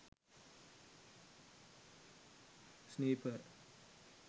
sniper